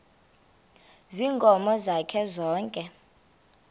ziinkomo zakhe zonke